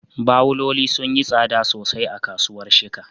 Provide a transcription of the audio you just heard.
Bawuloli sun yi tsada sosai a kasuwar Shika